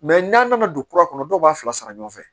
n'an nana don kura kɔnɔ dɔw b'a fila sara ɲɔgɔn fɛ